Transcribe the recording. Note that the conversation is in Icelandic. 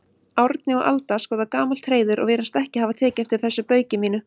Árni og Alda skoða gamalt hreiður og virðast ekki hafa tekið eftir þessu bauki mínu.